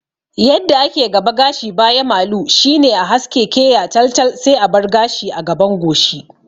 Yadda ake gaba gashi baya malu shine a haske keya tal tal sai a bar gashi a gaban goshi